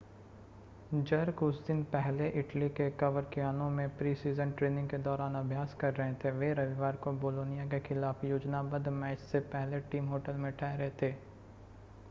jerk उस दिन पहले इटली के कवरकियानो में प्री-सीज़न ट्रेनिंग के दौरान अभ्यास कर रहे थे वे रविवार को बोलोनिया के खिलाफ़ योजनाबद्ध मैच से पहले टीम होटल में ठहरे थे